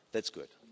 That's good.